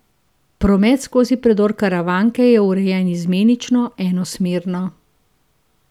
Promet skozi predor Karavanke je urejen izmenično enosmerno.